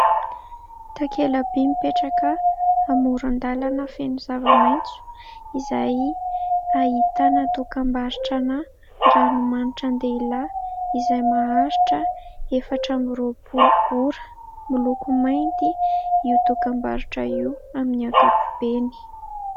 Takelaby mipetraka amoron-dalana feno zavamaitso, izay ahitana dokam-barotrana ranomanitra an-dehilahy izay maharitra efatra amby roapolo ora. Miloko mainty io dokam-barotra io amin'ny ankapobeny.